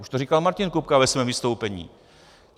Už to říkal Martin Kupka ve svém vystoupení.